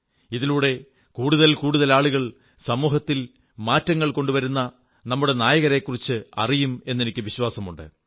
ഇതിലൂടെ കൂടുതൽ കൂടുതൽ ആളുകൾ സമൂഹത്തിൽ മാറ്റങ്ങൾ കൊണ്ടുവരുന്ന നമ്മുടെ നായകരെക്കുറിച്ച് അറിയും എന്നെനിക്കു വിശ്വാസമുണ്ട്